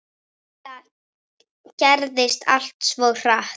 Þetta gerðist allt svo hratt.